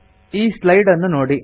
ಈ ಸ್ಲೈಡನ್ನು ನೋಡಿ